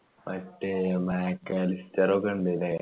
മറ്റേ മേക്ക്അലിസ്റ്റർ ഒക്കെയുണ്ട്ല്ലേ